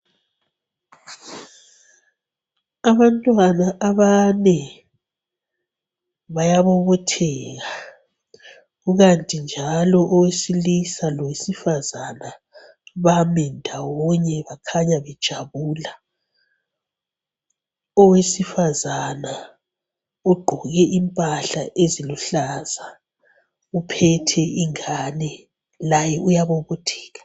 Abantwana abane bayabobotheka ikanti njalo owesila lowesifazana bami ndawonye kukhanya bejabula. Owesifazana ogqoke impahla eziluhlaza uphethe ingane laye uyabobotheka.